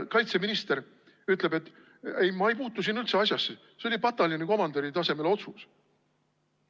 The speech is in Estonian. " Kaitseminister ütleb: "Ei, ma ei puutu siin üldse asjasse, see oli pataljoni komandöri tasemel otsus.